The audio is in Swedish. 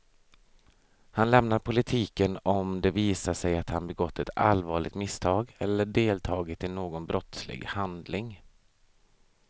Han lämnar politiken om det visar sig att han begått ett allvarligt misstag eller deltagit i någon brottslig handling.